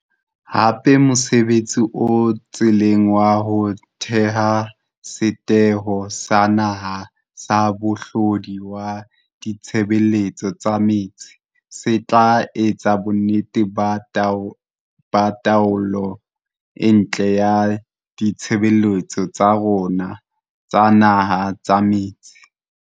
Hape mosebtsi o tseleng wa ho theha Setheho sa Naha sa Mohlodi wa Ditshebeletso tsa Metsi se tla etsa bonnete ba taolo e ntle ya ditshebeletso tsa rona tsa naha tsa metsi.